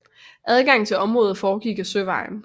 Adgangen til området foregik ad søvejen